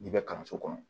N'i bɛ kalanso kɔnɔ